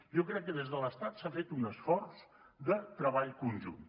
jo crec que des de l’estat s’ha fet un esforç de treball conjunt